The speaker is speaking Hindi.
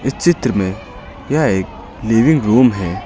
चित्र में यह एक लिविंग रूम है।